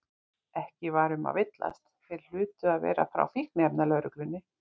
Ekki var um að villast, þeir hlutu að vera frá Fíkniefnalögreglunni.